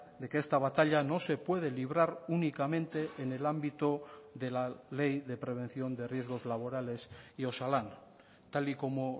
de que esta batalla no se puede librar únicamente en el ámbito de la ley de prevención de riesgos laborales y osalan tal y como